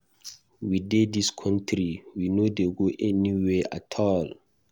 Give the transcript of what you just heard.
We dey dis country, we no dey go anywhere at all.